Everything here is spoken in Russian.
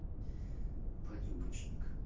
по-любому